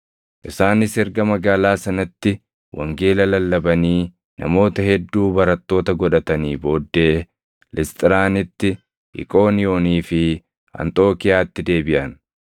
Isaanis erga magaalaa sanatti wangeela lallabanii namoota hedduu barattoota godhatanii booddee Lisxiraanitti, Iqooniyoonii fi Anxookiiyaatti deebiʼan.